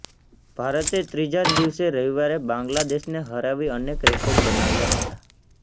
ભારતે ત્રીજા દિવસે જ રવિવારે બાંગ્લાદેશને હરાવી અનેક રેકોર્ડ બનાવ્યા હતા